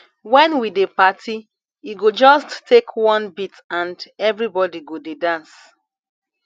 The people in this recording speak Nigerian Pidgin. wen we dey party e go just take one beat and everybody go dey dance